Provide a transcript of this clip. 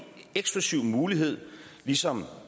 eksklusiv mulighed ligesom